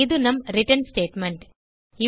இது நம் return statement